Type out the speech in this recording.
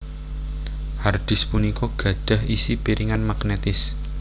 Hard disk punika gadhah isi piringan magnetis